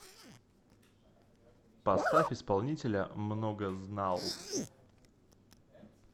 поставь исполнителя многознал